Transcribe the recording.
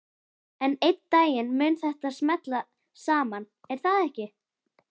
En einn daginn mun þetta smella saman, er það ekki?